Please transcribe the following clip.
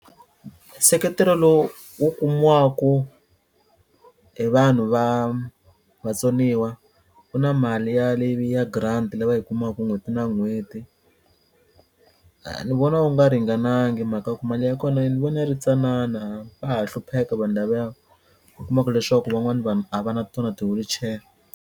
Nseketelo lowu wu kumiwaku hi vanhu va vatsoniwa ku na mali ya leyi ya grant la va yi kumaku n'hweti na n'hweti ni vona wu nga ringanangi hi mhaka ku mali ya kona ni vona yi ri tsanana va ha hlupheka vanhu lavaya u kuma ku leswaku van'wani vanhu a va na tona ti-wheelchair.